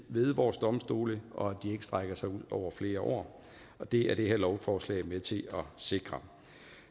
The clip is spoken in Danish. ved vores domstole og at det ikke strækker sig ud over flere år og det er det her lovforslag med til at sikre